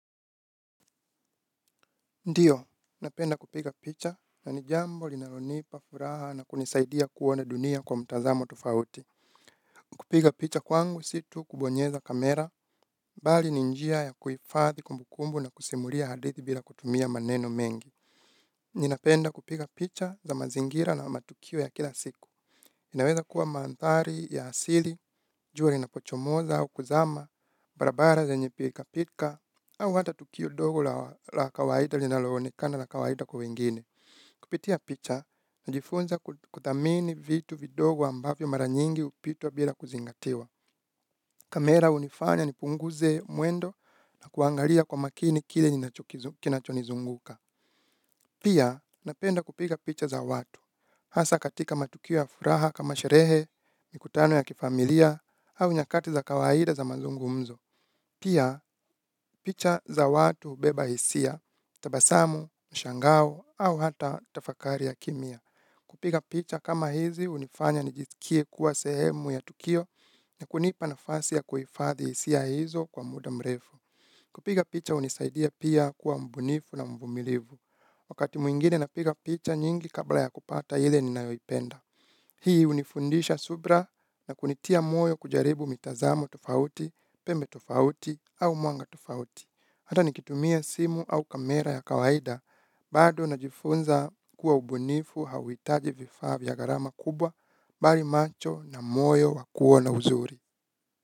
Ndiyo, napenda kupiga picha na ni jambo linalonipa furaha na kunisaidia kuona dunia kwa mtazamo tofauti. Kupiga picha kwangu si tu kubonyeza kamera, bali ni njia ya kuifadhi kumbukumbu na kusimulia hadithi bila kutumia maneno mengi. Ninapenda kupiga picha za mazingira na matukio ya kila siku. Inaweza kuwa maantari ya hasili, jua linapochomoza au kuzama, barabara zenye pilikapilika au hata tukio dogu la kawaida linaloonekana la kawaida kwa wengine. Kupitia picha, najifunza kuthamini vitu vidogo ambavyo mara nyingi hupitwa bila kuzingatiwa. Kamera hunifanya nipunguze mwendo na kuangalia kwa makini kile ninachonizunguka. Pia, napenda kupiga picha za watu. Hasa katika matukio ya furaha kama sherehe, mikutano ya kifamilia, au nyakati za kawaida za mazungumzo. Pia, picha za watu hubeba hisia, tabasamu, mshangao, au hata tafakari ya kemia. Kupiga picha kama hizi hunifanya nijisikie kuwa sehemu ya tukio na kunipa nafasi ya kuhifadhi hisia hizo kwa muda mrefu. Kupiga picha hunisaidia pia kuwa mbunifu na mvumilivu. Wakati mwingine napiga picha nyingi kabla ya kupata ile ninayoipenda. Hii hunifundisha subira na kunitia moyo kujaribu mitazamo tofauti, pembe tufauti au mwanga tofauti. Hata nikitumia simu au kamera ya kawaida bado na jifunza kuwa ubunifu hauitaji vifaa vya gharama kubwa bali macho na moyo wakuona uzuri.